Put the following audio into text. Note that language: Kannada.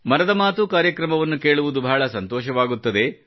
ಮನದ ಮಾತು ಕಾರ್ಯಕ್ರಮವನ್ನು ಕೇಳುವುದು ಬಹಳ ಸಂತೋಷವಾಗುತ್ತದೆ